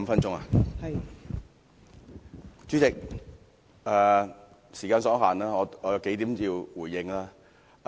代理主席，時間所限，我有幾點要回應。